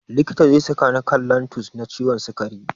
Likita zai saka ni kan lantus na ciwon sikari.